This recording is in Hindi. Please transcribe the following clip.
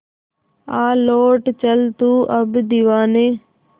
आ लौट चल तू अब दीवाने